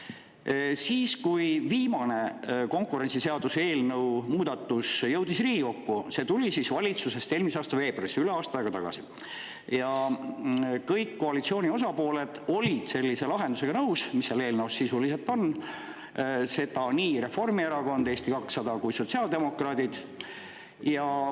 Kui Riigikokku jõudis viimane konkurentsiseaduse muudatus, mis tuli valitsusest eelmise aasta veebruaris, üle aasta aega tagasi, siis kõik koalitsiooni osapooled olid nõus sellise lahendusega, mis seal eelnõus sisuliselt on, nõus olid nii Reformierakond, Eesti 200 kui ka sotsiaaldemokraadid.